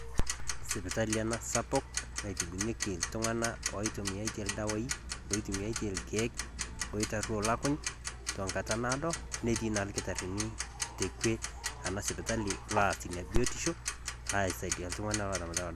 Sipitali ena sapuk natibieki iltung'anak kintumiya iyie ildawaii, oitumiya iyie irkiek oitaruo Ilakuny' teng'ata naado oleng' naa etii ilkitarrini te kwe ena sipitali loas Ina biotisho aisaidia iltung'anak otta emoyian olukuny'.